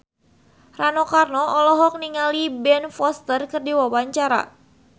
Rano Karno olohok ningali Ben Foster keur diwawancara